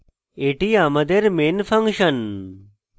এটি আমাদের main function